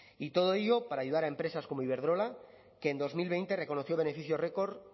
y todo ello para ayudar a empresas como iberdrola que en dos mil veinte reconoció beneficios record